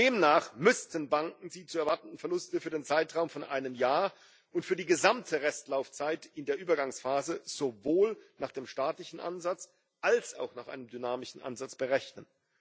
Demnach müssten Banken die zu erwartenden Verluste für den Zeitraum von einem Jahr und für die gesamte Restlaufzeit in der Übergangsphase sowohl nach dem statistischen Ansatz als auch nach einem dynamischen Ansatz berechnen.